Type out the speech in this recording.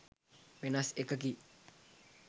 වෙනස් එකකි.